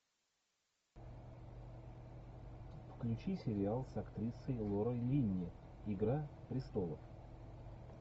включи сериал с актрисой лорой линни игра престолов